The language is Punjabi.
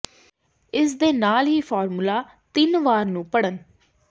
ਇਸ ਦੇ ਨਾਲ ਹੀ ਫਾਰਮੂਲਾ ਤਿੰਨ ਵਾਰ ਨੂੰ ਪੜ੍ਹਨ